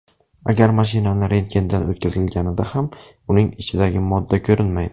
Agar mashinani rentgendan o‘tkazilganida ham uning ichidagi modda ko‘rinmaydi.